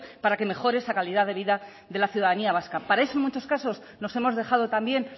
para que mejore esa calidad de vida de la ciudadanía vasca para eso en muchos casos nos hemos dejado también